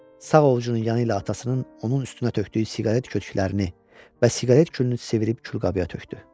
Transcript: Sağ ovucunun yanı ilə atasının onun üstünə tökdüyü siqaret kötüklərini və siqaret külünü sivirib külqabıya tökdü.